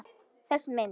Þessi mynd